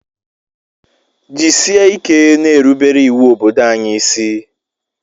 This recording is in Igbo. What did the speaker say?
Jisike na-erubere iwu obodo anyi ịsị